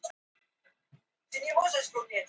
Álfheiður